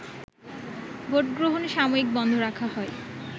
ভোটগ্রহণ সাময়িক বন্ধ রাখা হয়